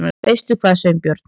Veistu hvað, Sveinbjörn?